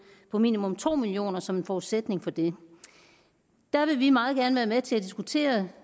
på minimum to million kroner som en forudsætning for det der vil vi meget gerne være med til at diskutere